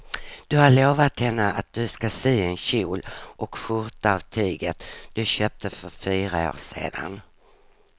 Du har lovat henne att du ska sy en kjol och skjorta av tyget du köpte för fyra år sedan.